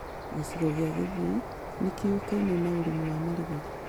Gĩcigo gĩa Gĩthii nĩyuĩkaine na ũrĩmi wa marigũ